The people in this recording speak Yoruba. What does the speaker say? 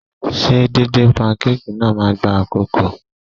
Ṣé díndín pankéèkì náà máa gba àkókò?